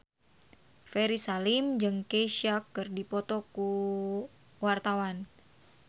Ferry Salim jeung Kesha keur dipoto ku wartawan